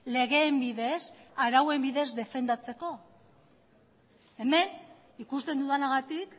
legeen bidez arauen bidez defendatzeko hemen ikusten dudanagatik